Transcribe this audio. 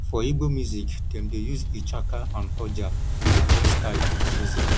for igbo music dem dey use ichaka and oja e dey bring style to di music